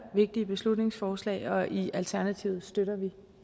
vigtige beslutningsforslag og i alternativet støtter vi